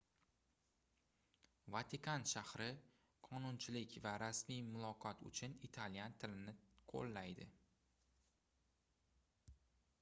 vatikan shahri qonunchilik va rasmiy muloqot uchun italyan tilini qoʻllaydi